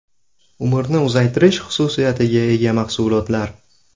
Umrni uzaytirish xususiyatiga ega mahsulotlar.